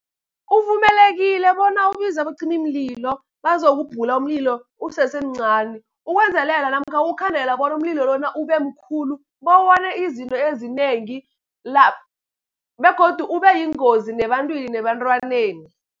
Uvumelekile bona ubize abacimimlilo bazokubhula umlilo usesemncani. Ukwenzelela namkha ukukhandela bona umlilo lona ube mkhulu, bewone izinto ezinengi begodu ube yingozi nebantwini nebantwaneni.